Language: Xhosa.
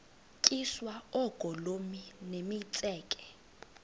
tyiswa oogolomi nemitseke